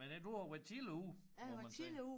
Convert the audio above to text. Men ja du har været tidligt ude må man sige